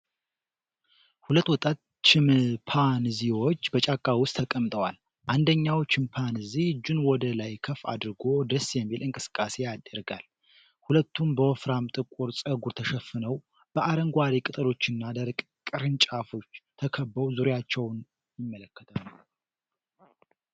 ሁለት ወጣት ቺምፓንዚዎች በጫካ ውስጥ ተቀምጠዋል። አንደኛው ቺምፓንዚ እጁን ወደ ላይ ከፍ አድርጎ ደስ የሚል እንቅስቃሴ ያደርጋል። ሁለቱም በወፍራም ጥቁር ፀጉር ተሸፍነው በአረንጓዴ ቅጠሎችና ደረቅ ቅርንጫፎች ተከበው ዙሪያቸውን ይመለከታሉ።